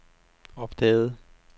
opdagede